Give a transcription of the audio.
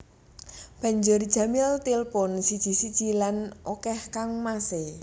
Banjur Jamil tilpun siji siji lan olèh kangmasé